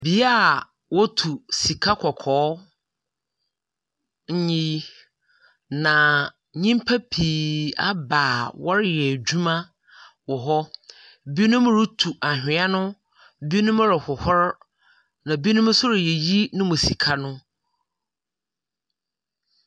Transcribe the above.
Bea a wotu sika kɔkɔɔ nyi, na nyimpa pii aba a wɔreyɛ edzwuma wɔ hɔ, na binom rotu anhwea no. Binom rohohor, na binom nso reyiyi no mu sika no.